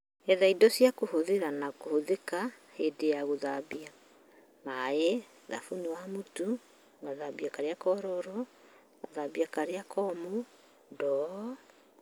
Etha indo cia kũhũthĩrwo na kũhũthĩka hĩndĩ ya gũthambia: maaĩ, thabuni wa mũtu, gathambia karĩa kororo, gathambia karĩa komũ ,ndoo.